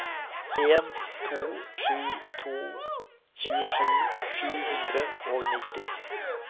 en to sju to tjuesju sju hundre og nitti